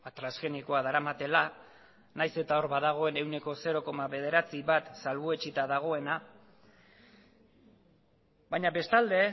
transgenikoa daramatela nahiz eta hor badagoen ehuneko zero koma bederatzi bat salbuetsita dagoena baina bestalde